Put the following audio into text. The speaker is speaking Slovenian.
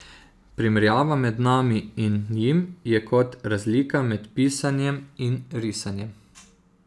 Primerjava med nami in njim je kot razlika med pisanjem in risanjem.